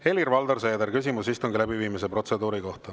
Helir-Valdor Seeder, küsimus istungi läbiviimise protseduuri kohta.